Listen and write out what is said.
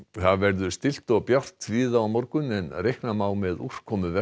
það verður stillt og bjart víða á morgun en reikna má með úrkomu